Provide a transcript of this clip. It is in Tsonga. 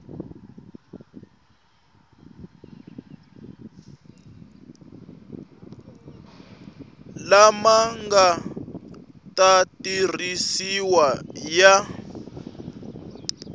lama nga ta tirhisiwa ya